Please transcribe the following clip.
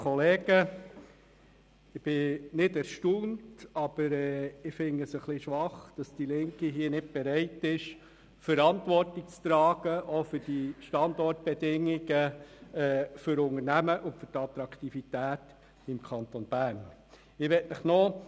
Ich bin nicht erstaunt, aber ich finde es etwas schwach, dass die Linke nicht bereit ist, Verantwortung für die Standortbedingungen für Unternehmen und die Attraktivität des Kantons Bern zu übernehmen.